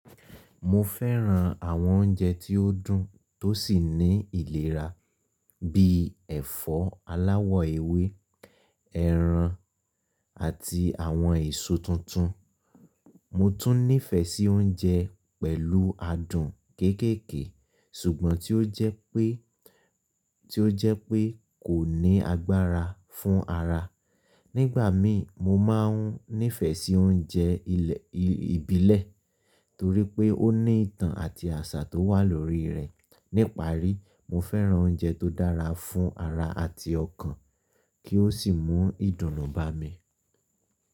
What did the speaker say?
Mo fẹ́ran àwọn oúnjẹ tí ó dùn tó sì ní ìlera bíi ẹ̀fọ́ aláwọ̀ ewé, ẹran, àti àwọn èso tuntun. Mo tún nífẹ̀ẹ́ sí oúnjẹ pẹ̀lú adùn kéékèèké ṣùgbọ́n tí ó jẹ́ pé, tí ó jẹ́ pé kò ní agbára fún ara. Nígbà mí mo máa ń nífẹ̀ẹ́ sí oúnjẹ ilẹ̀, ìbílẹ̀ torí pé ó ní ìtàn àti àṣà tó wà lórí rẹ̀. Níparí, mo fẹ́ran oúnjẹ tó dára fún ara àti ọkàn kí ó sì mú ìdùnnú bá mi.